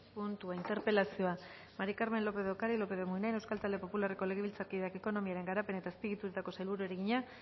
puntua interpelazioa maría del carmen lópez de ocariz lópez de munain euskal talde popularreko legebiltzarkideak ekonomiaren garapen eta azpiegituretako sailburuari egina